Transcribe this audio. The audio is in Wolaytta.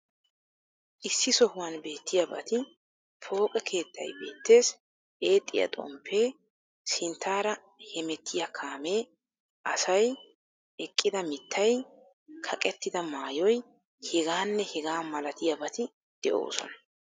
Issi sohuwan beettiyabati pooqqe keettay beettees, eexxiya xomppe, sinttaara hemmettiya kaammee, asay, eqqidaa mittay, kaqqettida maayoy heggaanne hegaa malatiyabati de'oosona.